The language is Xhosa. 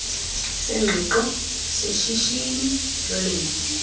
sengqiqo seshishini lolimo